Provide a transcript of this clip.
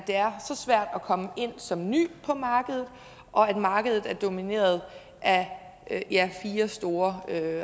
det er så svært at komme ind som ny på markedet og når markedet er domineret af fire store